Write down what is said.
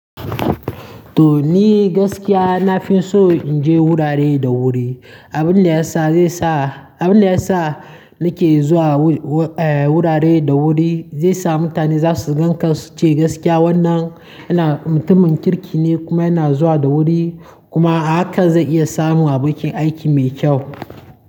To ni gaskiya nafi so in je wurare da wuri. Abin da ya sa zai sa, abin da ya sa nake zuwa wur-wur-eh wurare da wuri zai sa mutane za su gan ka su ce gaskiya wannan yana mutumin kirki ne kuma yana zuwa da wuri kuma haka zai iya samowa bikin aiki mai kyau.